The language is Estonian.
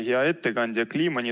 Hea ettekandja!